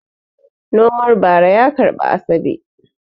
Nomar bara ya karbi Asabe.